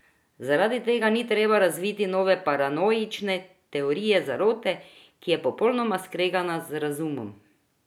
Zaradi tega ni treba razviti nove paranoične teorije zarote, ki je popolnoma skregana z razumom.